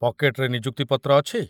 ପକେଟରେ ନିଯୁକ୍ତି ପତ୍ର ଅଛି?